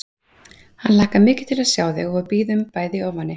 Hann hlakkar mikið til að sjá þig og við bíðum bæði í ofvæni